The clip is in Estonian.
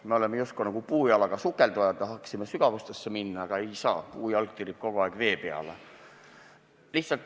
Me oleme just nagu puujalaga sukeldujad – tahaksime sügavustesse minna, aga ei saa, puujalg tirib kogu aeg vee peale.